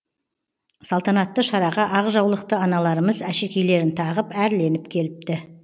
салтанатты шараға ақ жаулықты аналарымыз әшекейлерін тағып әрленіп келіпті